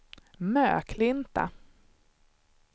Möklinta